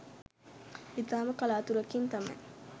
ඉතාම කලාතුරකින් තමයි